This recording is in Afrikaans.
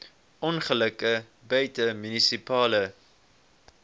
ongelukke buite munisipale